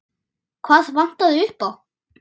Hvað vantaði upp á?